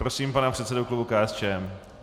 Prosím pana předsedu klubu KSČM.